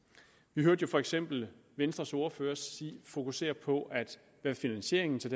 vi hørte for eksempel venstres ordfører fokusere på hvad finansieringen til